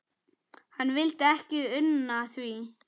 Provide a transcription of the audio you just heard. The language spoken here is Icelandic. Hann vildi ekki una því.